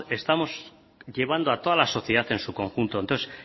estamos llevando a toda la sociedad en su conjunto entonces